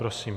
Prosím.